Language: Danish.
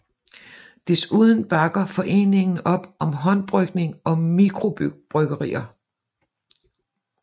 Desuden bakker foreningen op om håndbrygning og mikrobryggerier